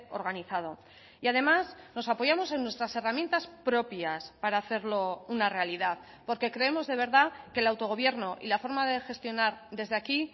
organizado y además nos apoyamos en nuestras herramientas propias para hacerlo una realidad porque creemos de verdad que el autogobierno y la forma de gestionar desde aquí